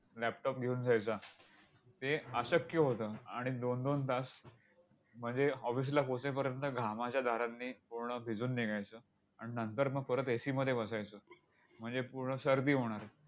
laptop घेऊन जायचा. ते अशक्य होतं. आणि दोन दोन तास म्हणजे office ला पोहोचेपर्यंत घामाच्या धारांनी पूर्ण भिजून निघायचो. आणि नंतर मग परत AC मध्ये बसायचो. म्हणजे पूर्ण सर्दी होणार.